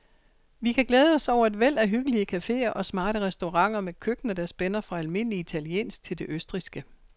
Vi kan glæde os over et væld af hyggelige caféer og smarte restauranter med køkkener, der spænder fra almindelig italiensk til det østrigske.